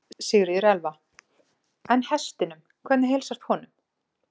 Sigríður Elva: En hestinum, hvernig heilsast honum?